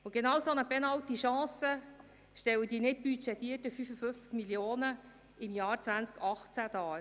Genau eine solche Penalty-Chance stellen die für das Jahr 2018 nicht budgetierten 55 Mio. Franken dar.